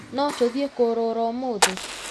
No tũthiĩ kũrũra ũmũthĩ?